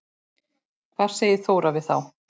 Hvað segir Þóra við þá?